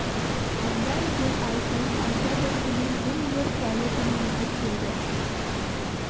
аздан сөн ай туып аса бір тынық жым-жырт жайлы түн жылжып келді